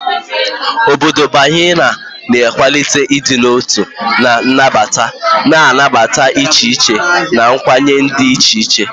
Obodo Baha'i na-akwalite ịdị n'otu na nnabata, na-anabata echiche na nkwenye dị iche iche.